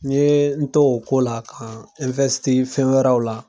N ye n to o ko la ka n fɛn wɛrɛw la.